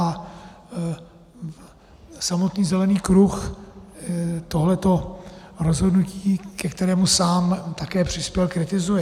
A samotný Zelený kruh tohleto rozhodnutí, ke kterému sám také přispěl, kritizuje.